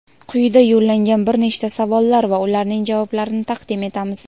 Quyida yo‘llangan bir nechta savollar va ularning javoblarini taqdim etamiz:.